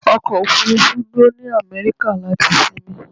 Ọkọ̀ òfúrúfú dúró ní Amẹ́ríkà láti sinmi.